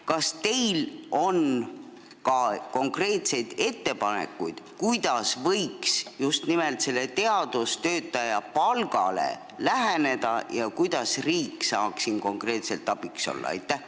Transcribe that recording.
Kas teil on konkreetseid ettepanekuid, kuidas võiks just teadustöötaja palgale läheneda ja kuidas riik saaks siin konkreetselt abiks olla?